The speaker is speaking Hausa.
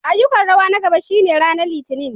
Ayyukan rawa na gaba shine ranar Litinin.